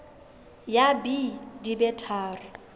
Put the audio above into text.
ya b di be tharo